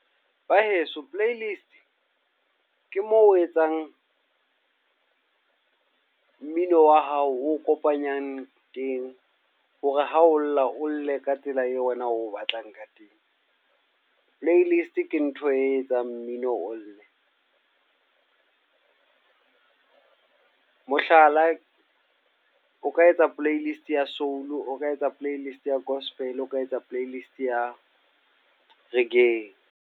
Ba heso playlist, ke moo o etsang mmino wa hao o kopanyang teng. Hore ha o lla, o lle ka tsela eo wena o batlang ka teng. Playlist ke ntho e etsang mmino o lle. Mohlala, o ka etsa playlist ya soul, o ka etsa playlist ya gospel, o ka etsa playlist ya reggae.